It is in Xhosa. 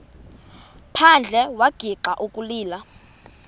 phandle wagixa ukulila